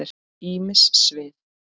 Ýmis svið.